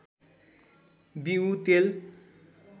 बिऊ तेल